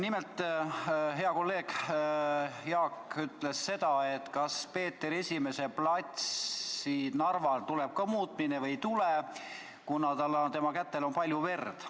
Nimelt, hea kolleeg Jaak küsis seda, kas Narva Peeter I platsi nimes tuleb ka teha muudatus või ei tule, kuna Peeter I kätel on palju verd.